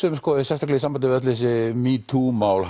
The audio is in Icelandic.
um sérstaklega í sambandi við öll þessi metoo mál